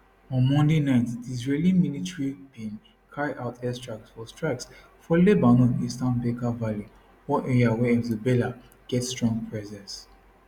on monday night di israeli military bin carry out air strikes for strikes for lebanon eastern bekaa valley one area where hezbollah get strong presence